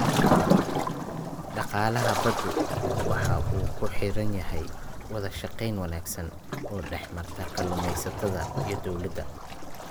Dhaqaalaha baddu waxa uu ku xidhan yahay wada shaqayn wanaagsan oo dhexmarta kalluumaysatada iyo dawladda.